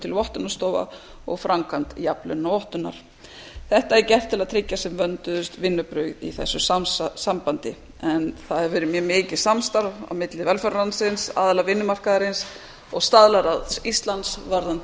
til vottunarstofa og framkvæmd jafnlaunavottunar þetta er gert til að tryggja sem vönduðust vinnubrögð í þessu sambandi en það hefur verið mjög mikið samstarf á milli velferðarráðuneytisins aðila vinnumarkaðarins og staðlaráðs íslands varðandi